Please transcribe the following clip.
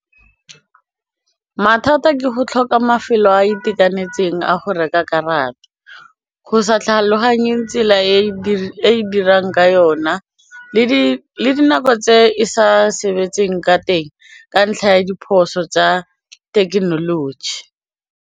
Mathata ke go tlhoka mafelo a a itekanetseng a go reka karata, go sa tlhaloganye tsela e dirang ka yona le dinako tse e sa sebetseng ka teng ka ntlha ya diphoso tsa thekenoloji.